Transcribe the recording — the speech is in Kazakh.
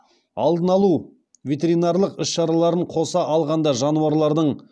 алдын алу ветеринарлық іс шараларын қоса алғанда жануарлардың